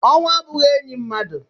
Ọnwụ abụghị enyi mmadụ.